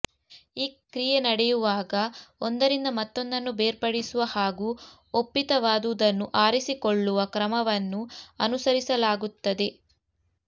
ಈ ಕ್ರಿಯೆ ನಡೆಯುವಾಗ ಒಂದರಿಂದ ಮತ್ತೊಂದನ್ನು ಬೇರ್ಪಡಿಸುವ ಹಾಗೂ ಒಪ್ಪಿತವಾದುದನ್ನು ಆರಿಸಿಕೊಳ್ಳುವ ಕ್ರಮವನ್ನು ಅನುಸರಿಸಲಾಗುತದೆ